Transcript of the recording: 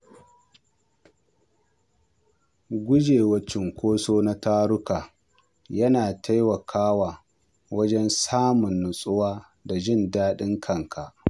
Gujewa cunkoso na taruka yana taimakawa wajen samun natsuwa da jin daɗin kanka.